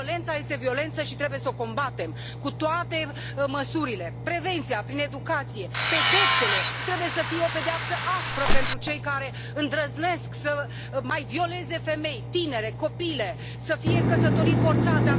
Violența este violență și trebuie să o combatem cu toate măsurile prevenția prin educație, pedepsele trebuie să fie o pedeapsă aspră pentru cei care îndrăznesc să mai violeze femei, tinere, copile, pentru cazurile de căsătorii forțate.